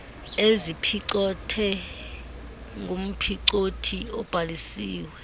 eziphicothwe ngumphicothi obhalisiweyo